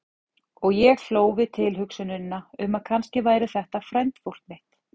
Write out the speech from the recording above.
Og ég hló við tilhugsunina um að kannski væri þetta frændfólk mitt.